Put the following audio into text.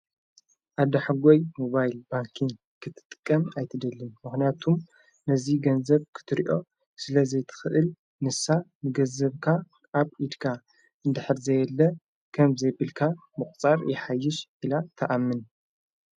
ኣዳሕጐይ ሞባይል ባንክን ክትጥቀም ኣይትደልን መሕንያቱም ነዙይ ገንዘብ ክትርእዮ ስለ ዘይትኽእል ንሳ ንገዘብካ ኣብ ኢድካ እንድኅሪ ዘየለ ከም ዘይብልካ ምቝጻር የሓይሽ ኢላ ተኣምን።